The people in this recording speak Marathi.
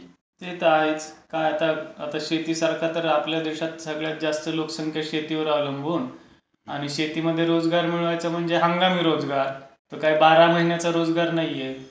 ते तर आहेच; पण आता शेतीसारखा तर आपल्या देशात सगळ्यात जास्त लोकसंख्या शेतीवर अवलंबून आणि शेतीमध्ये रोजगार मिळवायचं म्हणजे हंगामी रोजगार. तो काही बारा महिन्याचं रोजगार नाहीये.